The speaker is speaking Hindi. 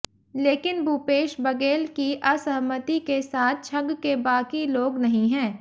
लेकिन भूपेश बघेल की असहमति के साथ छग के बाकी लोग नहीं है